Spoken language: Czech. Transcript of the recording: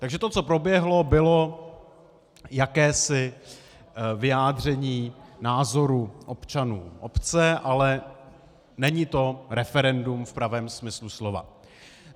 Takže to, co proběhlo, bylo jakési vyjádření názoru občanů obce, ale není to referendum v pravém smyslu slova.